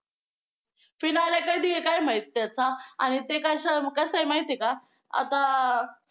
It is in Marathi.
finale कधी आहे काय माहित त्याचा आणि ते कसं आहे माहिती आहे का? आता